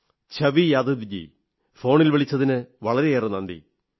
ഛവി യാദവ്ജീ ഫോണിൽ വിളിച്ചതിന് വളരെയേറെ നന്ദി